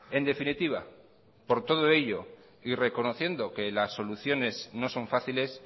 en definitiva por todo ello y reconociendo que las soluciones no son fáciles